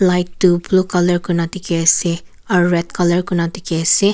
light tu blue colour kurina dikhi ase aro red colour kurina dikhi ase.